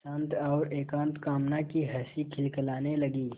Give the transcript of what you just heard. शांत और एकांत कामना की हँसी खिलखिलाने लगी